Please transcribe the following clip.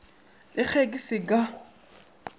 le ge ke se ka